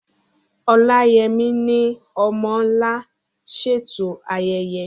Oláyẹmí ni "Ọmọ́ Ńlá" ṣètò ayẹyẹ.